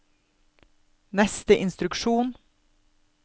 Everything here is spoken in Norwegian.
neste instruksjon